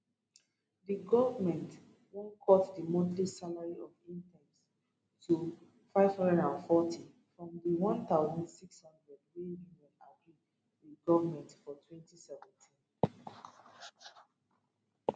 di goment wan cut di monthly salary of interns to 540 from di 1600 wey unions agree wit goment for 2017